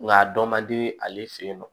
Nka a dɔ man di ale fɛ yen nɔ